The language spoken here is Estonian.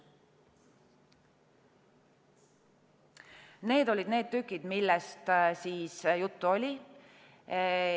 Need olid need tükid, millest juttu oli.